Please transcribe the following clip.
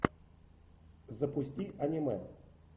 запусти аниме